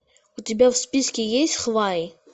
у тебя в списке есть хваи